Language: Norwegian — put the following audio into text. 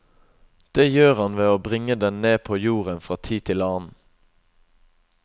Det gjør han ved å bringe den ned på jorden fra tid til annen.